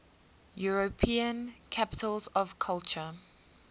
european capitals of culture